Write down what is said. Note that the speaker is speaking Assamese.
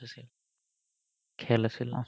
খেল আছিল অহ্